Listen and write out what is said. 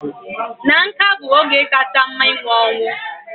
Na nká bụ oge kacha mma ịnwụ anwụ